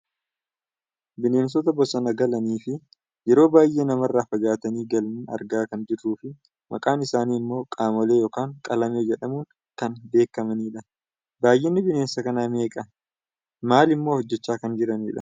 Bineensota bosona galanii fi yeroo baayyee namarraa fagaatanii galan argaa kan jirruu fi maqaan isaanii ammoo qamalee yookaan qalamee jedhamuun kan beekkamanidha. Baayyinni bineensa kanaa meeqadha? Maalimmoo hojjachaa kan jiranidha?